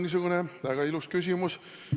See on väga ilus küsimus.